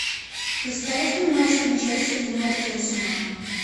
поставь мне матч манчестер юнайтед и арсенал